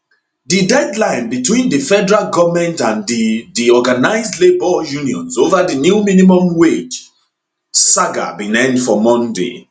di deadline between di federal goment and di di organised labour unions ova di new minimum wage saga bin end for monday